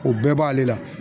O bɛɛ b'ale la.